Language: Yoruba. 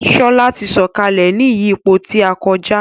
Shola tí Sọkalẹ ní ìyípo tí a koja.